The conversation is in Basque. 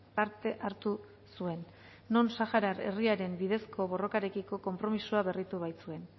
parte hartu zuen non sahara herriaren bidezko borrokarekiko konpromisoa berritu baitzuen